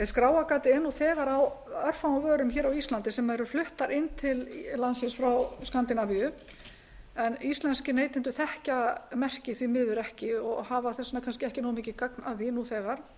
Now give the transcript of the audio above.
er nú þegar á örfáum vörum á íslandi sem eru fluttar inn til landsins frá skandinavíu en íslenskir neytendur þekkja merkið því miður ekki og hafa kannski þess vegna kannski ekki nógu mikið gagn að því nú þegar